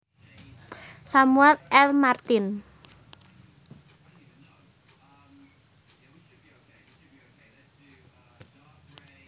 Samuel L Martin